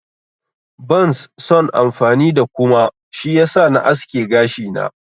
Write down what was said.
Bans son amfani da kuma, shi yasa na aske gashina.